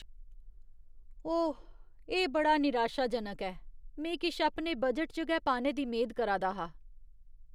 ओह्, एह् बड़ा निराशाजनक ऐ। में किश अपने बजट च गै पाने दी मेद करा दा हा।